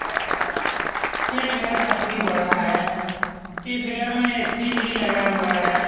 यह घर यह घर काफी बड़ा है इस घर में ए.सी. भी लगा हुआ है ।